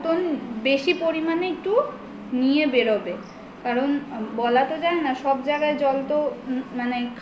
বেশি পরিমানে একটু নিয়ে বেরোবে কারণ বলা তো যায় না সবজায়গায় জল তো মানে